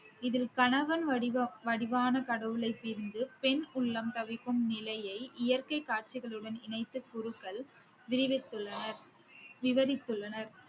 இதில் கணவன் வடிவா~ வடிவான கடவுளை பிரிந்து பெண் உள்ளம் தவிக்கும் நிலையை இயற்கை காட்சிகளுடன் இணைத்து குருக்கள் விரிவித்துள்ளனர் விவரித்துள்ளனர்